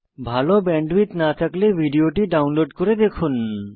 ভাল ব্যান্ডউইডথ না থাকলে ভিডিও টি ডাউনলোড করে দেখুন